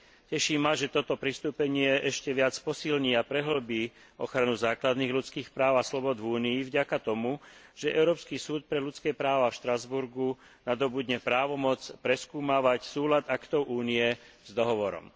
Teší ma, že toto pristúpenie ešte viac posilní a prehĺbi ochranu základných ľudských práv a slobôd v Únii vďaka tomu, že Európsky súd pre ľudské práva v Štrasburgu nadobudne právomoc preskúmavať súlad aktov Únie s dohovorom.